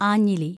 ആഞ്ഞിലി